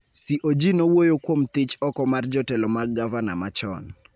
CoG nowuoyo kuom thich oko mar jotelo mag gavana machon